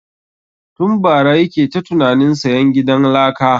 Tun bara yake ta tunanin sayan gidan laka